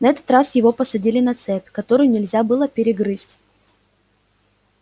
на этот раз его посадили на цепь которую нельзя было перегрызть